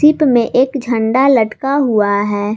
Ship में एक झंडा लटका हुआ हैं।